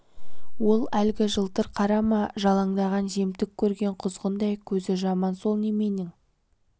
ол әлгі жылтыр қара ма жалаңдаған жемтік көрген құзғындай көзі жаман сол неменің